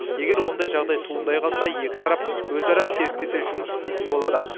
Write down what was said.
егер ондай жағдай туындай қалса екі тарап өзара серіктесе жұмыс істейтін болады